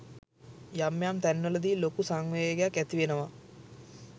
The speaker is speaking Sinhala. යම් යම් තැන්වලදි ලොකු සංවේගයක් ඇතිවෙනව.